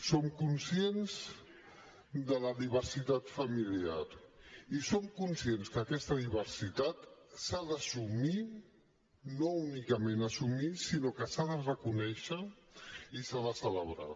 som conscients de la diversitat familiar i som conscients que aquesta diversitat s’ha d’assumir i no únicament assumir sinó que s’ha de reconèixer i s’ha de celebrar